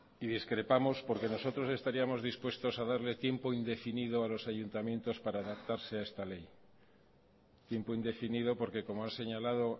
y discrepamos porque nosotros estaríamos dispuestos a darle tiempo indefinido a los ayuntamientos para adaptarse a esta ley tiempo indefinido porque como ha señalado